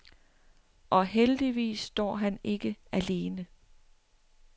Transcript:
Og heldigvis står han ikke alene.